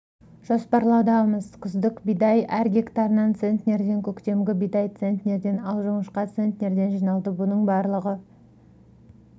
жоспарлаудамыз күздік бидай әр гектарынан центнерден көктемгі бидай центнерден ал жоңышқа центнерден жиналды мұның барлығы